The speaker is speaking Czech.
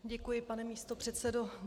Děkuji, pane místopředsedo.